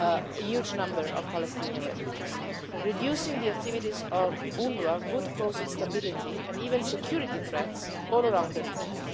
a huge number of Palestinian refugees. Reducing the activities of UNWRA would cause instability and even security threats all around the region.